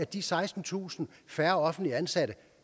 de sekstentusind færre offentligt ansatte